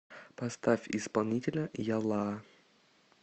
поставь исполнителя ялла